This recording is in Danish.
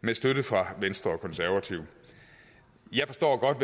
med støtte fra venstre og konservative jeg forstår godt